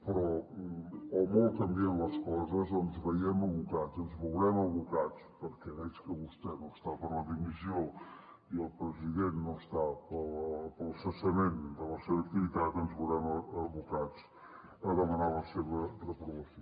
però o molt canvien les coses o ens veiem abocats ens veurem abocats perquè veig que vostè no està per la dimissió i el president no està pel cessament de la seva activitat a demanar la seva reprovació